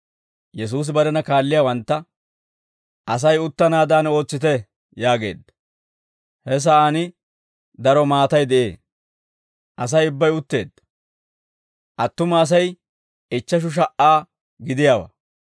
Yesuusi barena kaalliyaawantta, «Asay uttanaadan ootsite» yaageedda. He sa'aan daro maatay de'ee. Asay ubbay utteedda; attuma Asay ichcheshu sha"aa gidiyaawaa.